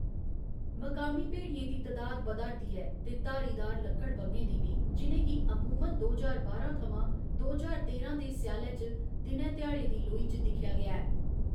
मकामी भेड़ियें दी तदाद बधा'रदी ऐ ते धारीदार लकड़बग्घें दी बी, जि'नें गी अमूमन दो ज्हार बारां थमां दो ज्हार तेरां दे स्यालै च दिनै ध्याड़े दी लोई च दिक्खेआ गेआ ऐ।